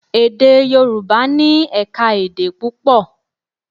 Èdè Yorùbá ní ẹ̀ka-èdè púpọ̀.